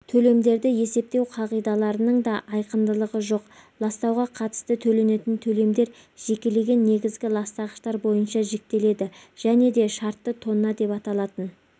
төлемдерді есептеу қағидаларының да айқындылығы жоқ ластауға қатысты төленетін төлемдер жекелеген негізгі ластағыштар бойынша жіктеледі және де шартты тонна деп аталатын